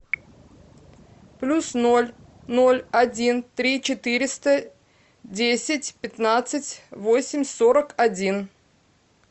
плюс ноль ноль один три четыреста десять пятнадцать восемь сорок один